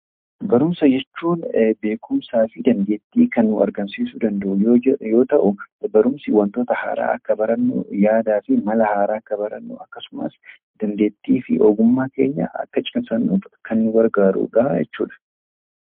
Barumsa jechuun beekumsaa fi dandeettii kan nuu argamsiisuu danda'u yoo ta'u barumsi wantoota haaraa akka barannu yaadaa fi mala haaraa akka barannu akkasumas dandeettii fi ogummaa keenya akka cimsannuuf kan nu gargaarudhaa jechuudha.